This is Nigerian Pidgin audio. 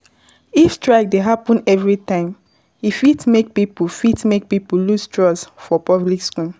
If strikes dey happen every time e fit make pipo fit make pipo lose trust for public schools